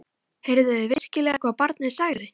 Heyrðuð þið virkilega hvað barnið sagði?